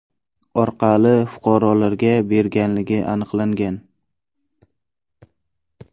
orqali fuqarolarga berganligi aniqlangan.